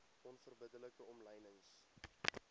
onverbidde like omlynings